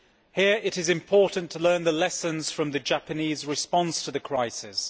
Here it is important to learn the lessons from the Japanese response to the crisis.